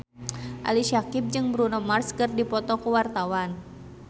Ali Syakieb jeung Bruno Mars keur dipoto ku wartawan